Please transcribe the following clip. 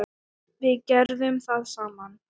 Við gerðum það saman.